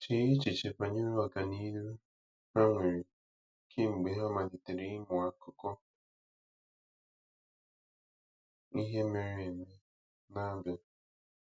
Chee echiche banyere ọganihu ha nwere kemgbe ha malitere ịmụ akụkọ ihe mere mere eme na Abia.